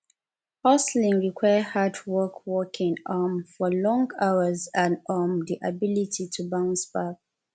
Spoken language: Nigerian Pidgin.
hustling require hard work working um for long hours and um di ability to bounce back